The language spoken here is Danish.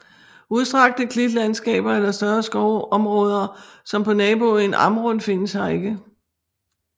Ustrakte klitlandskaber eller større skoveområder som på naboøen Amrum findes her ikke